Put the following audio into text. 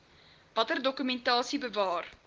watter dokumentasie bewaar